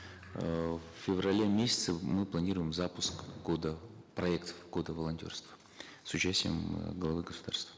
эээ в феврале месяце мы планируем запуск года проект года волонтерства с участием э главы государства